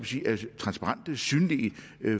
er transparente og synlige